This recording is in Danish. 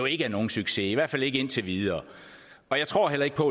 ikke er nogen succes i hvert fald ikke indtil videre jeg tror heller ikke på